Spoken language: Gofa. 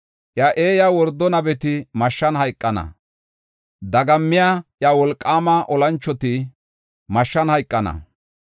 “Iya eeya wordo nabeti mashshan hayqonna. Dagammiya iya wolqaama olanchoti mashshan hayqana.